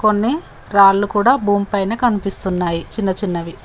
కొన్ని రాళ్లు కూడా భూమి పైన కనిపిస్తున్నాయి చిన్న చిన్నవి.